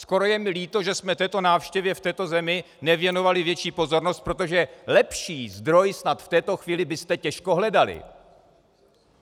Skoro je mi líto, že jsme této návštěvě v této zemi nevěnovali větší pozornost, protože lepší zdroj snad v této chvíli byste těžko hledali.